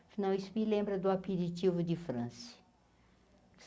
Afinal, isso me lembra do de França.